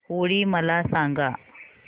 होळी मला सांगा